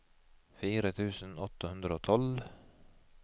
fire tusen åtte hundre og tolv